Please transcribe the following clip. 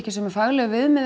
sömu faglegu viðmið